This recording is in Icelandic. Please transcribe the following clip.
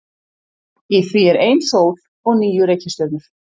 Í því er ein sól og níu reikistjörnur.